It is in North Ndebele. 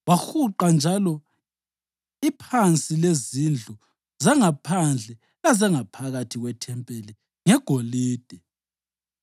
Wahuqa njalo iphansi lezindlu zangaphandle lezangaphakathi kwethempeli ngegolide.